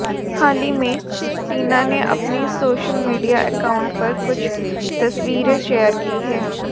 हाल ही में टीना ने अपने सोशल मीडिया अकाउंट पर कुछ तस्वीरें शेयर की हैं